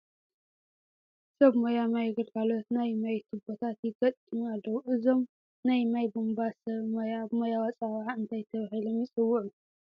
ሰብ ሞያ ማይ ግልጋሎት ናይ ማይ ትቡታት ይገጥሙ ኣለዉ፡፡ እዞም ናይ ማይ ቡምባ ሰብ ሞያ ብሞያዊ ኣፀዋውዓ እንታይ ተባሂሎም ይፅውዑ?